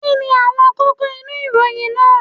Kí ni àwọn kókó inú ìròyìn náà